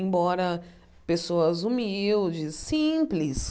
Embora pessoas humildes, simples,